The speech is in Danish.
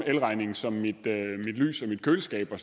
elregning som mit lys og mit køleskab og